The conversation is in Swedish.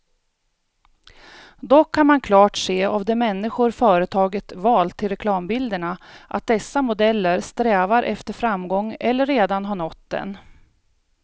Dock kan man klart se av de människor företaget valt till reklambilderna, att dessa modeller strävar efter framgång eller redan har nått den.